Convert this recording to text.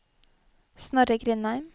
Snorre Grindheim